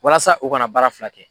Walasa u kana baara fila kɛ.